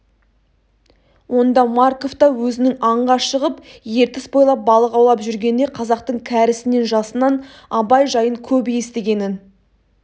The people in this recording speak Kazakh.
онда марков та өзінің аңға шығып ертіс бойлап балық аулап жүргенде қазақтың кәрісінен жасынан абай жайын көп естігенін